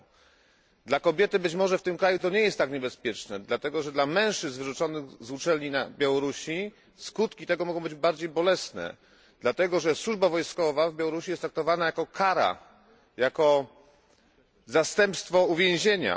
Być może dla kobiety w tym kraju to nie jest tak niebezpieczne, ale dla mężczyzn wyrzuconych z uczelni na Białorusi skutki mogą być bardziej bolesne, dlatego, że służba wojskowa na Białorusi jest traktowana jako kara, jako zastępstwo uwięzienia.